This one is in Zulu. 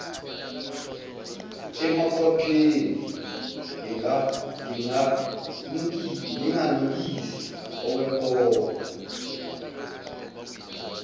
emakhwapheni nginganukisi okwempongo